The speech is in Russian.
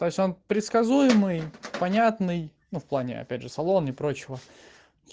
то есть он предсказуемый понятный ну в плане опять же салон и прочего